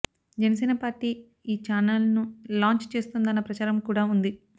Janasena party ఈ చానల్ను launch చేస్తుందన్న ప్రచారం కూడా ఉంది